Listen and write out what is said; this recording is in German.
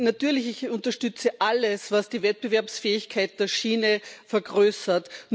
Natürlich unterstütze ich alles, was die Wettbewerbsfähigkeit der Schiene vergrößert.